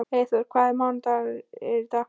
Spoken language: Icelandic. Eyþóra, hvaða mánaðardagur er í dag?